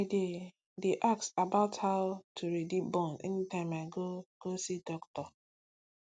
i dey dey ask about how to ready born anytime i go go see doctor